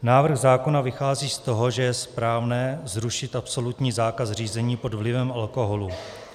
Návrh zákona vychází z toho, že je správné zrušit absolutní zákaz řízení pod vlivem alkoholu.